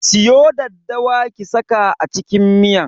Siyo daddawa ki saka a cikin miyan.